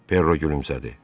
Perro gülümsədi.